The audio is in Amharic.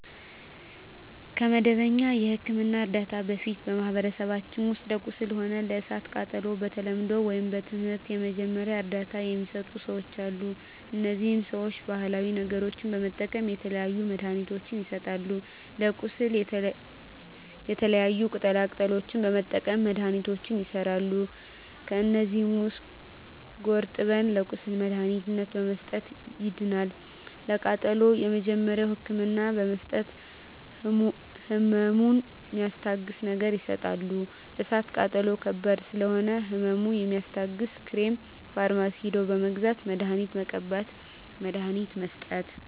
ከመደበኛ የሕክምና ዕርዳታ በፊት በማኀበረሰባችን ውስጥ ለቁስል ሆነ ለእሳት ቃጠሎው በተለምዶው ወይም በትምህርት የመጀመሪያ እርዳታ ሚሰጡ ሰዎች አሉ እነዚህ ሰዎች ባሀላዊ ነገሮች በመጠቀም የተለያዩ መድሀኒትችን ይሰጣሉ ለቁስል የተለያዩ ቅጠላ ቅጠሎችን በመጠቀም መድሀኒቶች ይሠራሉ ከዚህ ውስጥ ጉርጠብን ለቁስል መድሀኒትነት በመስጠት ያድናል ለቃጠሎ የመጀመሪያ ህክምና በመስጠት ህመሙን ሚስታግስ ነገር ይሰጣሉ እሳት ቃጠሎ ከባድ ስለሆነ ህመሙ የሚያስታግስ ክሬም ፈርማሲ ሄደው በመግዛት መድሀኒት መቀባት መድሀኒት መስጠት